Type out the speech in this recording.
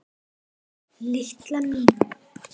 Lilla mín.